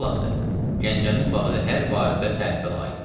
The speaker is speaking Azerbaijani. Xülasə, Gəncənin bağı hər barədə tərifə layiqdir.